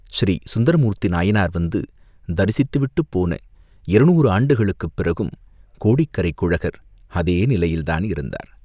ஸ்ரீசுந்தரமூர்த்தி நாயனார் வந்து தரிசித்துவிட்டுப் போன இருநூறு ஆண்டுகளுக்குப் பிறகும் கோடிக்கரைக் குழகர் அதே நிலையில்தான் இருந்தார்.